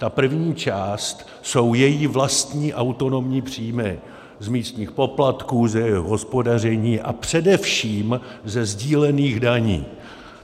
Ta první část jsou její vlastní autonomní příjmy z místních poplatků, z jejich hospodaření a především ze sdílených daní.